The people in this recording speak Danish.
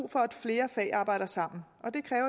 for at flere fag arbejder sammen